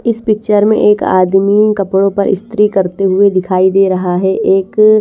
इस पिक्चर में एक आदमी कपड़ो पर इस्तरी करते हुए दिखाई दे रहा है एक--